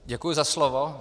Děkuji za slovo.